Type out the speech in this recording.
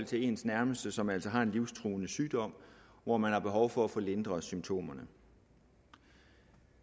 til ens nærmeste som altså har en livstruende sygdom hvor man har behov for at få lindret symptomerne